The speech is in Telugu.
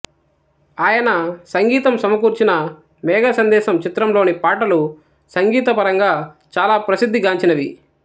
ఆయన సంగీతము సమకూర్చిన మేఘసందేశం చిత్రంలోని పాటలు సంగీతపరంగా చాలా ప్రసిద్ధి గాంచినవి